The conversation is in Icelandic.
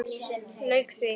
Lauk því.